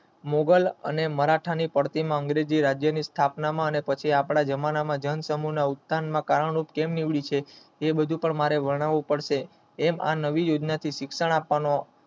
મુગલ અને મરાઠા ઓ નું અંગ્રેજી રાજ્યો નું અને આપણા જમાના માં જૈન સમૂહ નો આખ્યાનનો એ બધું મારે વર્ણવું પડશે આ નવી યોજના થી શિક્ષણ આપવાનું